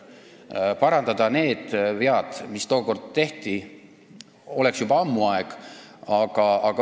Tuleks parandada vead, mis tookord tehti – juba ammu oleks aeg.